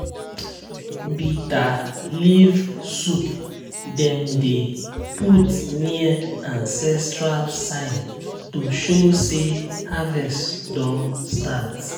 bitter leaf soup dem dey put near ancestral sign to show say harvest don start.